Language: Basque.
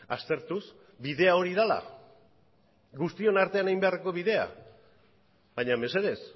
aztertuz bidea hori dela guztion artean egin beharreko bidea baina mesedez